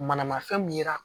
Manamafɛn min yira